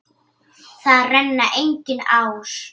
Þar renna engar ár.